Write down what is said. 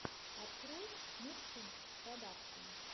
открой мухсин продакшен